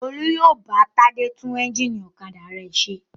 Olú yóò bá Tádé tún ẹ́ńjínì ọ̀kadà rẹ̀ ṣe.